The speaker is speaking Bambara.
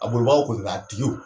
A bolibagaw kɔni nka a tigiw